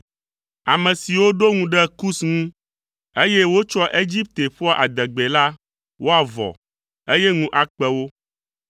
Ame siwo ɖo ŋu ɖe Kus ŋu, eye wotsɔa Egipte ƒoa adegbee la, woavɔ, eye ŋu akpe wo.